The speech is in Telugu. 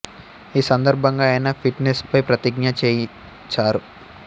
ఈ సందర్భంగా ఆయన ఫిట్ నెస్ పై ప్రతిజ్ఞ చేయిచారు